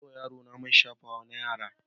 Na sayo wa yarona man shafawa na yara.